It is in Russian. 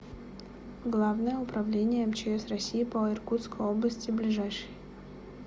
главное управление мчс россии по иркутской области ближайший